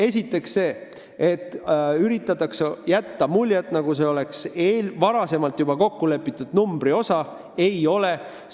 Esiteks see, et üritatakse jätta muljet, nagu tegu oleks juba varem kokkulepitud numbri sisse käiva osaga.